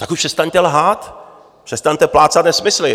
Tak už přestaňte lhát, přestaňte plácat nesmysly.